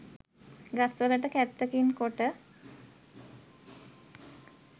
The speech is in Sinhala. ගස් වලට කැත්තකින් කොට